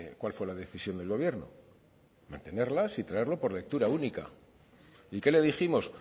cuál fue la decisión del gobierno mantenerlas y traerlo por lectura única y qué le dijimos